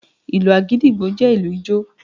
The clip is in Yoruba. Ìlù Àgídìgbo jẹ́ ìlù ijó.